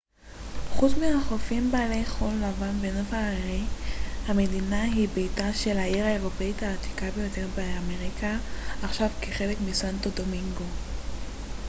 חוץ מחופים בעלי חול לבן ונוף הררי המדינה היא ביתה של העיר האירופאית העתיקה ביותר באמריקה עכשיו חלק מסנטו דומינגו